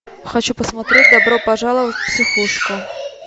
хочу посмотреть добро пожаловать в психушку